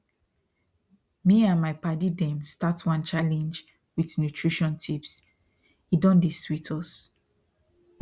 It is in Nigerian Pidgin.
me and my padi them start one challenge with nutrition tipse don dey sweet us